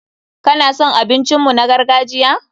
Ka na son abincin mu na gargajiya?